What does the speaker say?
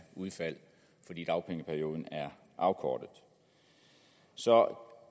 udfald fordi dagpengeperioden er afkortet så